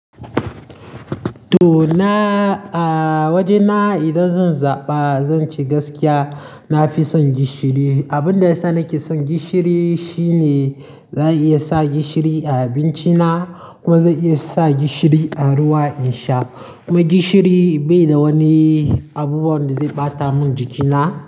To na, a wajena idan zan zaɓa zan ce gaskiya, na fi son gishiri. Abun da yasa na ke son gishiri shine za a iya sa gishiri a abinci na kuma za a iya sa gishiri a ruwa in sha. Kuma gishiri bai da wani abubuwan da zai ɓata mun jikina.